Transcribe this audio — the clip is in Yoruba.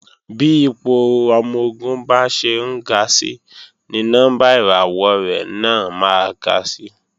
Bí ipò ọmọ-ogun bá ṣe ń ga si ni nọ́mbà ìràwọ̀ rẹ̀ náà máa ga si